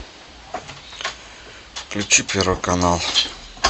включи первый канал